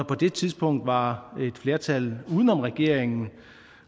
på det tidspunkt var der et flertal uden om regeringen